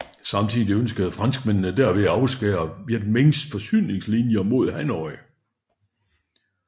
Samtidig ønskede franskmændene derved at afskære Vietminhs forsyningslinjer mod Hanoi